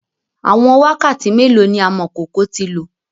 Awọn wakati melo ni amọkoko ti lo?